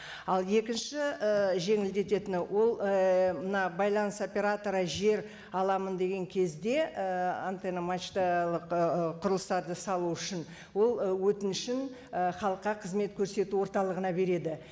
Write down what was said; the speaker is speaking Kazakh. ал екінші і жеңілдететіні ол ііі мына байланыс операторы жер аламын деген кезде ііі антенна мачталық ііі құрылыстарды салу үшін ол өтінішін і халыққа қызмет көрсету орталығына береді